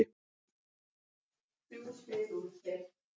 Telur læknaráð, að viðurkenndum aðferðum hafi verið beitt við aðgerðina?